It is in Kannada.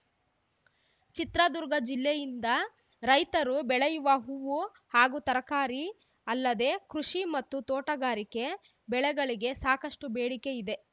ಚಿತ್ರದುರ್ಗ ಜಿಲ್ಲೆಯಿಂದ ರೈತರು ಬೆಳೆಯುವ ಹೂವು ಹಾಗೂ ತರಕಾರಿ ಅಲ್ಲದೆ ಕೃಷಿ ಮತ್ತು ತೋಟಗಾರಿಕೆ ಬೆಳೆಗಳಿಗೆ ಸಾಕಷ್ಟುಬೇಡಿಕೆ ಇದೆ